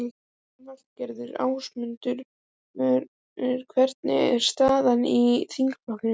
Lillý Valgerður: Ásmundur, hvernig er staðan í þingflokknum?